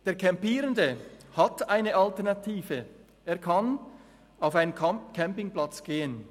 Der Campierende hat eine Alternative, er kann auf einen Campingplatz gehen.